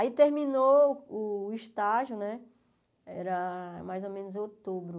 Aí terminou o estágio né, era mais ou menos outubro.